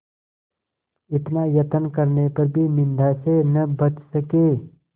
इतना यत्न करने पर भी निंदा से न बच सके